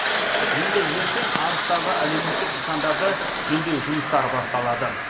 енді ертең арыстағы әлеуметтік нысандарды жөндеу жұмыстары басталады